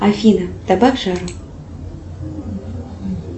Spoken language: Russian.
афина добавь жару